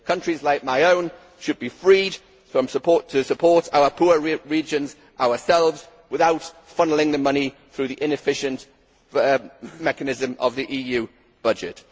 Countries like my own should be freed to support our poor regions ourselves without funnelling the money through the inefficient mechanism of the EU budget.